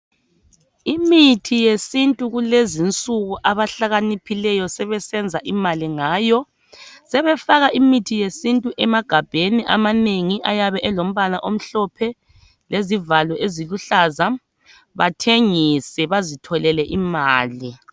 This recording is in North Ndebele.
Imithi yesintu kulezi nsuku abahlakaniphileyo sebesenza imali ngayo .Sebefaka imithi yesintu emagabheni amanengi ayabe elombala omhlophe lezivalo eziluhlaza bathengise bazitholele imali .